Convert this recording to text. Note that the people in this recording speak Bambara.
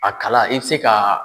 A kala i bi se ka